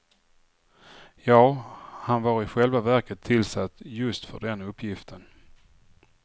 Ja, han var i själva verket tillsatt just för den uppgiften.